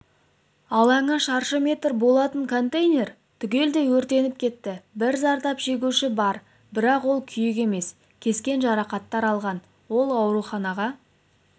алаңы шаршы метр болатын контейнер түгелдей өртеніп кетті бір зардап шегуші бар бірақ ол күйік емес кескен жарақаттар алған ол ауруханаға